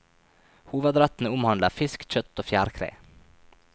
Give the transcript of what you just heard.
Hovedrettene omhandler fisk, kjøtt og fjærkre.